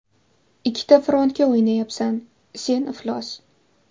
Ikkita frontga o‘ynayapsan, sen iflos!